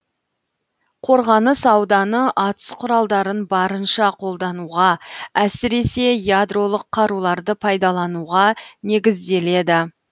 қорғаныс ауданы атыс құралдарын барынша қолдануға әсіресе ядролық қаруларды пайдалануға негізделеді